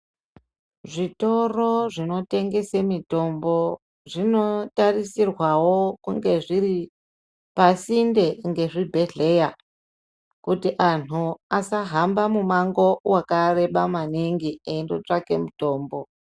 Zvitoro zvinotengese mitombo zvinotarisirwawo kunge zviri pasinde ngezvibhedhlera kuti anhu asahamba mumango wakareba maningi eindotsvake mutombo.